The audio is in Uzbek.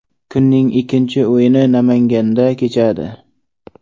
Kunning ikkinchi o‘yini Namanganda kechadi.